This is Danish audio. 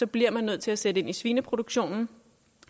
bliver nødt til at sætte ind i svineproduktionen